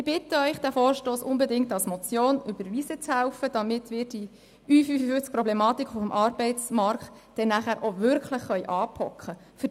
Ich bitte Sie, diesen Vorstoss unbedingt als Motion zu überweisen, damit wir die« Ü55»-Problematik auf dem Arbeitsmarkt nachher auch wirklich anpacken können.